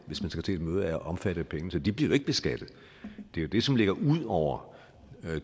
hvis man skal til et møde er overnatning omfattet af pengene så de bliver jo ikke beskattet det er det som ligger ud over